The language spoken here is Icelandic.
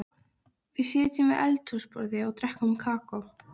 Það munaði í einlægnina og hið afdráttarlausa blygðunarleysi.